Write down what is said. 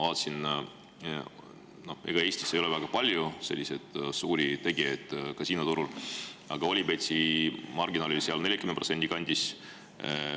Ega Eestis ei ole väga palju suuri tegijaid kasiinoturul, aga Olybeti marginaal oli 40% kandis.